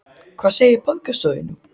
Hvað segir borgarstjóri nú?